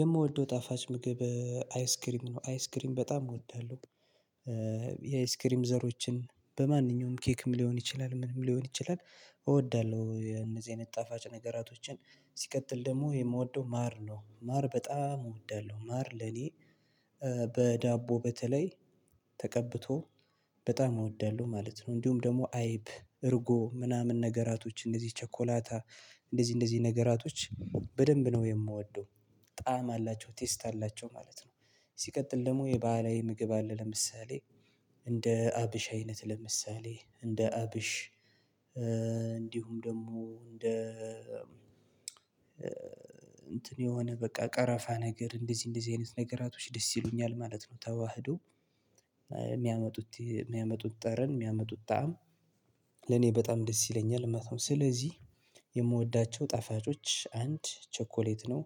የምወደው ጣፋጭ ምግብ አይስክሪም ነው። አይስክሪም በጣም እወዳለሁ። የአይስክሪም ዘሮችን በማንኛውም ኬክም ሊሆን ይችላል፤ ምንም ሊሆን ይችላል እወዳለሁ። የነዚህን ጣፋጭ ነገራቶችን ሲቀጥል ደግሞ የምወደው ማር ነው። ማር በጣም እወዳለሁ። ማር ለኔ በዳቦ በተለይ ተቀብቶ በጣም እወዳለሁ ማለት ነው፤ እንዲሁም ደግሞ አይብ እርጎ ምናምን ነገራቶች እንደዚህ ቸኮላታ እንደዚህ እንደዚህ ነገራቶች በደንብ ነው የምወደው። ጣዕም አላቸው፤ ቴስት አላቸው ማለት ነው። ሲቀጥል ደግሞ የባህላዊ ምግብ አለ ለምሳሌ እንደ አብሽ አይነት ለምሳሌ እንደ አብሽ እንዲሁም ደግሞ እንደ እንትን የሆነ በቃ ቀረፋ ነገር እንደዚህ እንደዚህ አይነት ነገራቶች ደስ ይሉኛል ማለት ነው። ተዋህዶ የሚያመጡት የሚያመጡት ጠረን የሚያመጡት ጣዕም ለኔ በጣም ደስ ይለኛል ማለት ነው። ስለዚህ የምወዳቸው ጣፋጮች አንድ ቸኮሌት ነው።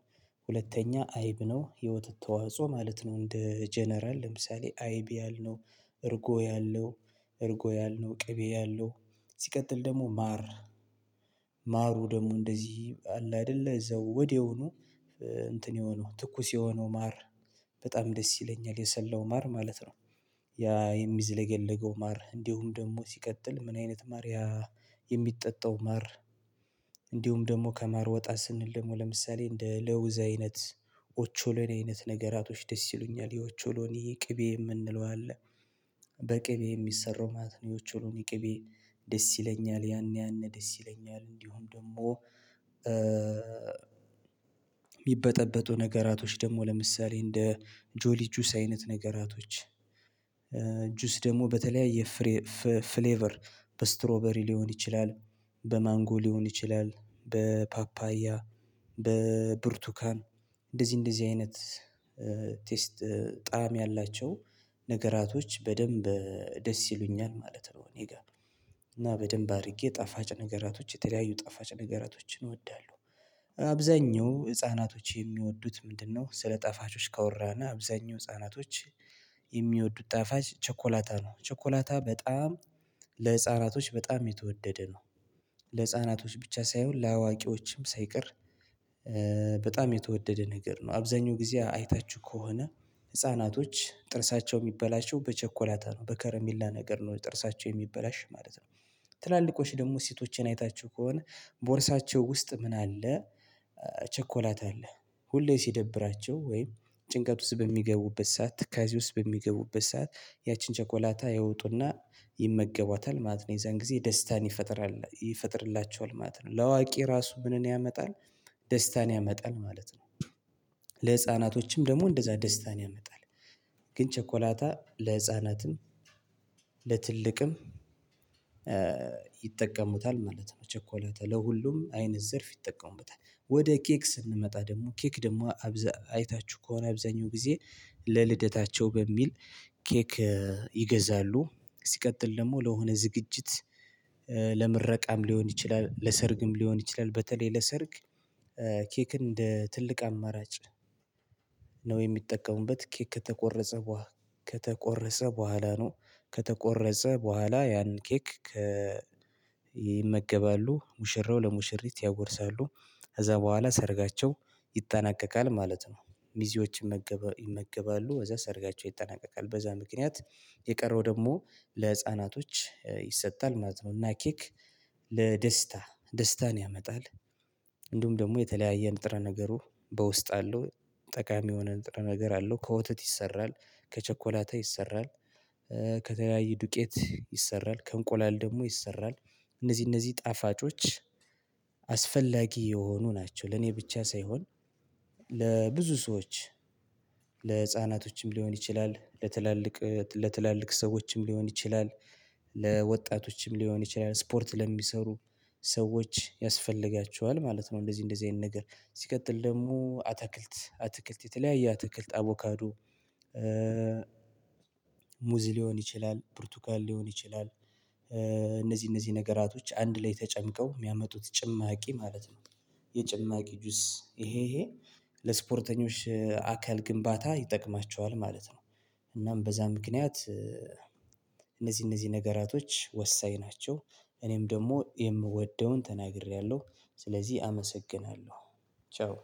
ሁለተኛ አይብ ነው። የወተት ተዋጽኦ ማለት ነው እንደ ጀነራል ለምሳሌ አይብ ያልነው እርጎ ያለው እርጎ ያልነው ቅቤ ያለው ሲቀጥል ደግሞ ማር ማሩ ደግሞ እንደዚህ አለ አይደለ እዛው ወዲያውኑ እንትን የሆነው ትኩስ የሆነው ማር በጣም ደስ ይለኛል። የሰላው ማር ማለት ነ፤ ያ የሚዘለገለገው ማር እንዲሁም ደግሞ ሲቀጥል ምን አይነት ማር የሚጠጣው ማር እንዲሁም ደግሞ ከማር ወጣ ስንል ደግሞ ለምሳሌ እንደ ለውዝ አይነት፣ ኦቾሎኒ አይነት ነገራቶች ደስ ይሉኛል። የኦቾሎኒ ቅቤ የምንለው አለ። በቅቤ የሚሰራው ማለት ነው የኦቾሎኒ ቅቤ ደስ ይለኛል። ያን ያን ደስ ይለኛል እንዲሁም ደግሞ የሚበጠበጡ ነገራቶች ደግሞ ለምሳሌ እንደ ጆሊ ጁስ አይነት ነገራቶች ጁስ ደግሞ በተለያየ ፍሌቨር በስትሮበሪ ሊሆን ይችላል፤ በማንጎ ሊሆን ይችላል፤ በፓፓያ፣ በብርቱካን እንደዚህ እንደዚህ አይነት ቴስት ጣዕም ያላቸው ነገራቶች በደንብ ደስ ይሉኛል ማለት ነው እኔ ጋር እና በደንብ አድርጌ ጣፋጭ ነገራቶች የተለያዩ ጣፋጭ ነገራቶችን እወዳለሁ። አብዛኛው ህፃናቶች የሚወዱት ምንድነው? ስለ ጣፋቾች ካወራን አብዛኛው ህፃናቶች የሚወዱት ጣፋጭ ቸኮላታ ነው። ቸኮላታ በጣም ለህፃናቶች በጣም የተወደደ ነው። ለህፃናቶች ብቻ ሳይሆን ለአዋቂዎችም ሳይቀር በጣም የተወደደ ነገር ነው። አብዛኛው ጊዜ አይታችሁ ከሆነ ህፃናቶች ጥርሳቸው የሚበላቸው በቸኮላታ ነ፤ በከረሜላ ነገር ነው ጥርሳቸው የሚበላሽ ማለት ነው። ትላልቆች ደግሞ ሴቶቼን አይታችሁ ከሆነ ቦርሳቸው ውስጥ ምን አለ? ቸኮላታ አለ። ሁሌ ሲደብራቸው ወይም ጭንቀት ውስጥ በሚገቡበት ሰዓ፣ ትካዜ ውስጥ በሚገቡበት ሰዓት፣ ያቺን ቸኮላታ ያወጡና ይመገቧታል ማለት ነው። የዛን ጊዜ ደስታን ይፈጥራል ይፈጥርላቸዋል ማለት ነው። ለአዋቂ ራሱ ምንን ያመጣል ደስታን ያመጣል ማለት ነው። ደግሞ እንደዛ ደስታን ያመጣል ግን ቸኮላታ ለህፃናትም ለትልቅም ይጠቀሙታል ማለት ነው። ቸኮላታ ለሁሉም አይነት ዘርፍ ይጠቀሙበታል። ወደ ኬክ ስንመጣ ደግሞ ኬክ ደግሞ አይታችሁ ከሆነ አብዛኛው ጊዜ ለልደታቸው በሚል ኬክ ይገዛሉ። ሲቀጥል ደግሞ ለሆነ ዝግጅት ለምረቃም ሊሆን ይችላል። ለሰርግም ሊሆን ይችላል በተለይ ለሰርግ ኬክ እንደ ትልቅ አማራጭ ነው የሚጠቀሙበት። ኬክ ከተቆረሰ ከተቆረሰ በኋላ ነው ከተቆረሰ በኋላ ያንን ኬክ ይመገባሉ፤ ሙሽራው ለሙሽሪት ያጎርሳሉ፤ በኋላ ሰርጋቸው ይጠናቀቃል ማለት ነው። ሚዜዎች ይመገባሉ እዛ ሰርጋቸው ይጠናቀቃል በዛ ምክንያት የቀረው ደግሞ ለህፃናቶች ይሰጣል ማለት ነው እና ኪክ ለደስታ ደስታን ያመጣል እንዲሁም ደግሞ የተለያየ ንጥረ ነገሩ በውስጥ አለው፤ ጠቃሚ የሆነ ነገር አለው። ከወተት ይሰራል ከቸኮላታ ይሰራል። ከተለያዩ ዱቄት ይሰራ፤ ከእንቆላል ደግሞ ይሰራል፤ እነዚህ እነዚህ ጣፋጮች አስፈላጊ የሆኑ ናቸው ለኔ ብቻ ሳይሆን ለብዙ ሰዎች ለህፃናቶችም ሊሆን ይችላል፤ ለትላልቅ ለትላልቅ ሰዎችም ሊሆን ይችላል። ለወጣቶችም ሊሆን ይችላል፤ ስፖርት ለሚሰሩ ሰዎች ያስፈልጋቸዋል ማለት ነው። እንደዚህ እንደዚህ አይነት ነገር ሲቀጥል ደግሞ አታክልት አትክልት የተለያየ አትክልት አቮካዶ፣ ሙዝ ሊሆን ይችላል፣ ብርቱካን ሊሆን ይችላል። እነዚህ እነዚህ ነገራቶች አንድ ላይ ተጨምቀው የሚያመጡት ጭማቂ ማለት ነው የጭማቂ ጁስ ይሄ ይሄ ለስፖርተኞች አካል ግንባታ ይጠቅማቸዋል ማለት ነው እናም በዛ ምክንያት እነዚህ እነዚህ ነገራቶች ወሳኝ ናቸው። እኔም ደግሞ የምወደውን ተናግሬያለሁ ስለዚህ አመሰግናለሁ ቻው።